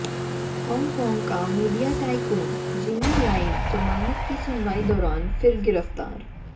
Hong Kong का media tycoon Jimmy Lai जमानत की सुनवाई दौरान फिर गिरफ्तार